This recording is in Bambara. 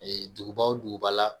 Ee duguba wo duguba la